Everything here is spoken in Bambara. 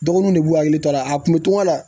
Dɔgɔnun de b'u hakili to a la a kun be toŋɔgɔ la